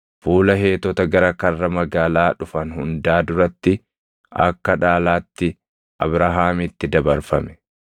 fuula Heetota gara karra magaalaa dhufan hundaa duratti akka dhaalaatti Abrahaamitti dabarfame.